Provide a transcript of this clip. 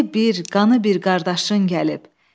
Dili bir, qanı bir qardaşın gəlib.